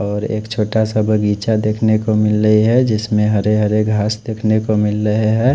और एक छोटा सा बगीचा देख नेको मिल रहे है जिसमे हरे हरे घास देख नेको मिल रहे है।